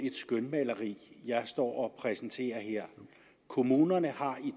et skønmaleri jeg står her præsenterer kommunerne har i